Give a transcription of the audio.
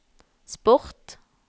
sport